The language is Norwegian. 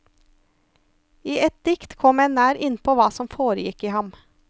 I ett dikt kommer en nær innpå hva som foregikk i ham.